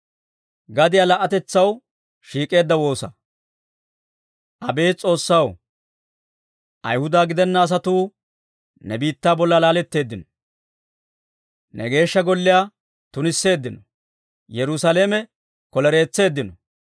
Abeet S'oossaw, Ayhuda gidena asatuu ne biittaa bolla laateeddino. Ne Geeshsha Golliyaa tunisseeddino; Yerusaalame kolereetseeddino.